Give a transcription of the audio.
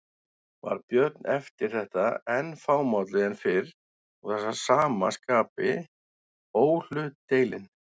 Varð Björn eftir þetta enn fámálli en fyrr og að sama skapi óhlutdeilinn.